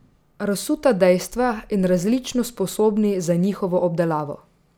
Razsuta dejstva in različno sposobni za njihovo obdelavo.